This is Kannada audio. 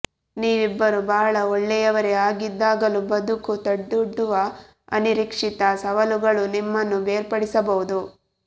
ನೀವಿಬ್ಬರೂ ಬಹಳ ಒಳ್ಳೆಯವರೇ ಆಗಿದ್ದಾಗಲೂ ಬದುಕು ತಂದೊಡ್ಡುವ ಅನಿರೀಕ್ಷಿತ ಸವಾಲುಗಳು ನಿಮ್ಮನ್ನು ಬೇರ್ಪಡಿಸಬಹುದು